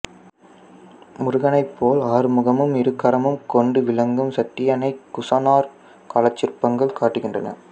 முருகனைப் போல் ஆறுமுகமும் இருகரமும் கொண்டு விளங்கும் சட்டியன்னையை குசாணர் காலச்சிற்பங்கள் காட்டுகின்றன